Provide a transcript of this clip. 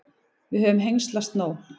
Við höfum hengslast nóg.